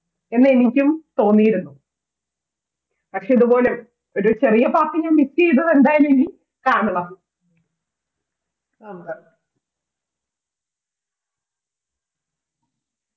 എന്ന് എനിക്കും തോന്നിയിരുന്നു പക്ഷേ ഇതുപോലെ ഒരു ചെറിയ ബാക്കി miss ചെയ്തത് ഇനി കാണണം.